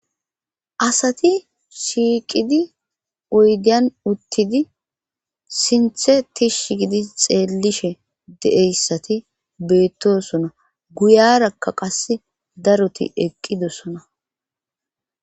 asati shiiqidi oydiyan uttidi sinthe tish gidi xeellishe de7eyssati beettosona guyarakka qas daroti eqqidosona